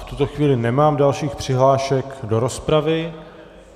V tuto chvíli nemám dalších přihlášek do rozpravy.